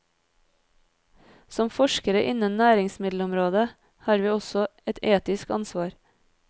Som forskere innen næringsmiddelområdet har vi også et etisk ansvar.